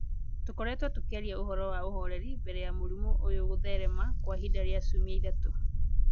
Tũkoretwo tũkĩaria ũhoro wa ũhoreri mbere ya mũrimũ ũyũ kũtherema kwa ihinda rĩa ciumia ithatũ.